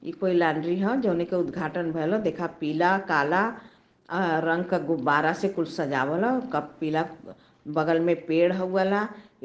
ई कोई लांड्री ह जौने क उद्धघाटन भईल ह। देखा पीला काला अ रंग क गुब्बारा से कुल सजावल ह। कप पीला अ बगल में पेड़ हउ वाला --